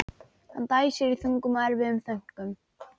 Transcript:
Hann dæsir í þungum og erfiðum þönkum.